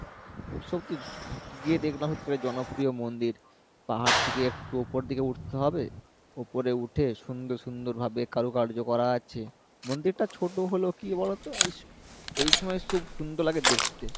সত্যি গিয়ে দেখলাম জনপ্রিয় মন্দির পাহাড় থেকে একটু উপর দিকে উঠতে হবে উপরে উঠে সুন্দর সুন্দর ভাবে কারুকার্য করা আছে মন্দিরটা ছোটো হলেও কী বলোতো ওই এই সময় সুন্দর লাগে দেখতে